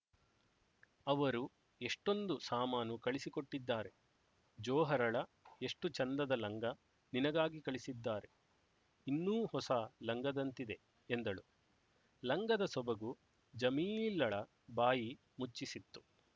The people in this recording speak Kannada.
ಅವರು ಎಷ್ಟೊಂದು ಸಾಮಾನು ಕಳಿಸಿಕೊಟ್ಟಿದ್ದಾರೆ ಜೊಹರಳ ಎಷ್ಟು ಚೆಂದದ ಲಂಗ ನಿನಗಾಗಿ ಕಳಿಸಿದ್ದಾರೆ ಇನ್ನೂ ಹೊಸ ಲಂಗದಂತಿದೆ ಎಂದಳು ಲಂಗದ ಸೊಬಗು ಜಮೀಲಳ ಬಾಯಿ ಮುಚ್ಚಿಸಿತ್ತು